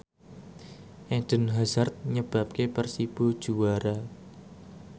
Eden Hazard nyebabke Persibo juara